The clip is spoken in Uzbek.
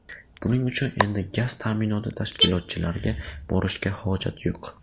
Buning uchun endi gaz ta’minoti tashkilotlariga borishga hojat yo‘q.